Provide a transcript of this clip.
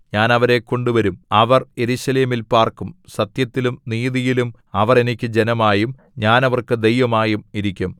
ഞാൻ അവരെ കൊണ്ടുവരും അവർ യെരൂശലേമിൽ പാർക്കും സത്യത്തിലും നീതിയിലും അവർ എനിക്ക് ജനമായും ഞാൻ അവർക്ക് ദൈവമായും ഇരിക്കും